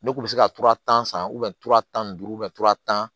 Ne kun bɛ se ka tura tan san tan ni duuru tan